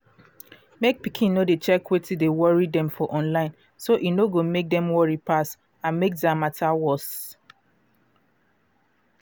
mek pikin no dey check wetin dey worry dem for online so e no go mek dem worry pass and mek their matter worse.